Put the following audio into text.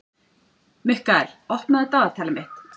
Mikkael, opnaðu dagatalið mitt.